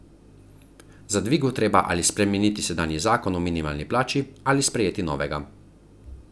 Za dvig bo treba ali spremeniti sedanji zakon o minimalni plači ali sprejeti novega.